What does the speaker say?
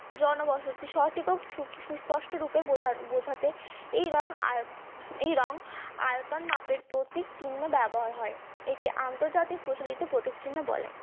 জনবসতি সঠিক ও সুস্পষ্ট রূপে বোঝাতে এই রং এই রং আয়তন মাপের প্রতীক চিহ্ন ব্যবহার করা হয় থেকে আন্তর্জাতিক প্রচলিত প্রতিচ্ছন্ন বলে